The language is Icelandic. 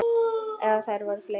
Eða eru þær fleiri?